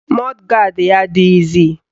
Mọd gard ya adịghịzi